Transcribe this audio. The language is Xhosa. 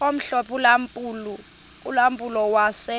omhlophe ulampulo wase